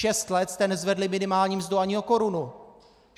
Šest let jste nezvedli minimální mzdu ani o korunu!